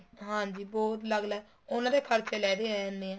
ਹਾਂਜੀ ਬਹੁਤ ਅਲੱਗ ਅਲੱਗ ਉਹਨਾ ਦੇ ਖਰਚੇ ਲਹਿਦੇ ਆ ਜਾਣੇ ਏ